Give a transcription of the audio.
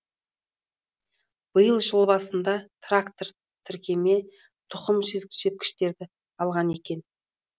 биыл жыл басында трактор тіркеме тұқым сепкіштерді алған екен